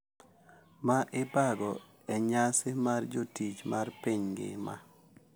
Ma ibago e nyasi mar jotich mar piny ngima.